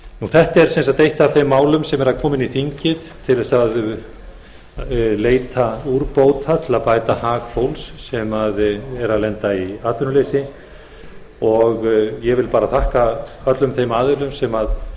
þetta er sem sagt eitt af þeim málum sem eru að koma inn í þingið til þess að leita úrbóta til að bæta hag fólks sem lendir í atvinnuleysi ég vil þakka öllum þeim aðilum sem